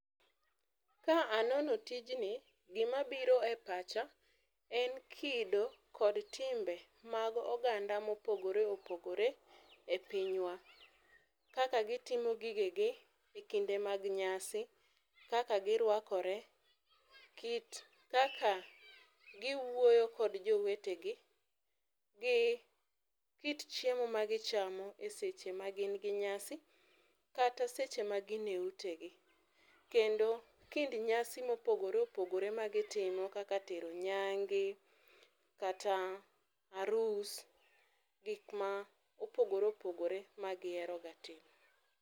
Ka anono tijni, gima biro e pacha en kido kod timbe mag oganda ma opogore opogore e pinywa. Kaka gitimo gige gi e kinde mag nyasi, kaka girwakore, kit kaka giwuoyo kod jowetegi gi kit chiemo ma gichamo e seche ma gin gi nyasi kata seche ma gin e utegi kendo kind nyasi mopogore opogore ma gitimo kaka tero nyange kata arus gikma opogore opogore ma gihero ga timo